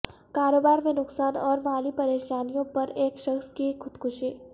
کاروبار میں نقصان اور مالی پریشانیوں پر ایک شخص کی خودکشی